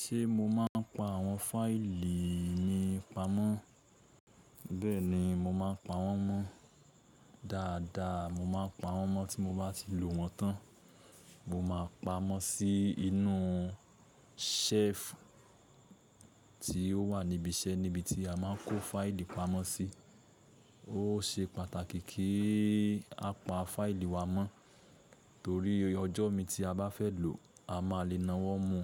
Ṣé mo máa ń pa àwọn fáìlì mi pamọ́? Bẹ́ẹ̀ni, mo máa ń pa wọ́n mọ́. Dáadáa, mo máa ń pa wọ́n mọ́ tí mo bá ti lò wọ́n tán. Mo ma pámọ́ sí inú ṣẹ́ẹ̀fù tí ó wà níbi iṣẹ́, níbi tí a ma ń kó fáìlì pamọ́ sí. Ó ṣe pàtàkì kí a pa fáìlì wa mọ́ torí ọjọ́ míì tí a bá fẹ́ lò, a máa le na wọ́n mu